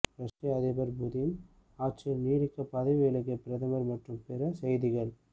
ரஷ்ய அதிபர் புதின் ஆட்சியில் நீடிக்க பதவி விலகிய பிரதமர் மற்றும் பிற செய்திகள்